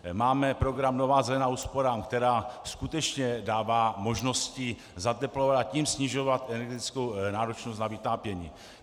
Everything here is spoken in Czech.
Máme program Nová zelená úsporám, která skutečně dává možnosti zateplovat, a tím snižovat energetickou náročnost na vytápění.